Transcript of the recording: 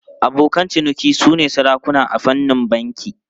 Abokan ciniki sune sarakuna a fannin banki.